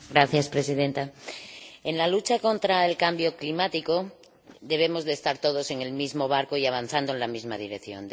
Señora Presidenta, en la lucha contra el cambio climático debemos estar todos en el mismo barco y avanzando en la misma dirección.